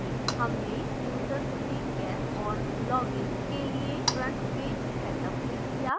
हमने यूजर्स में guests और लॉगइन के लिए frontpage सेटअप भी किया है